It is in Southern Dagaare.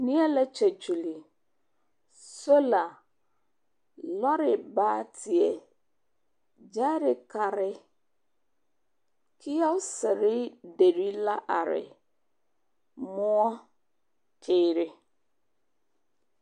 Neԑ la kyԑkyuli sola, lͻre baateԑ. Gyԑԑrekare, kiyͻͻsere deri la are, mõͻ, teere.